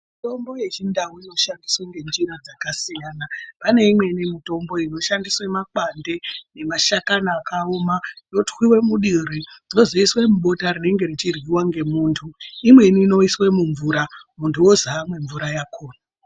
Mitombo yechindau inoshandiswe ngenjira dzakasiyana pane imweni mitombo inoshandise makwande nemashakani akaoma. Yotwive muduri vozoiswe mubota rinenge richiryiva ngemuntu. Imweni inoiswe mumvura muntu ozi amwe mvura yakona.